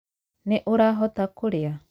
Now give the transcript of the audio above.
Nĩ ũrahota kũrĩa?